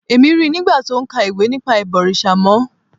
Èmi ríi nigba ti o ń ka ìwé nípa ìbọ̀rìṣà mọ́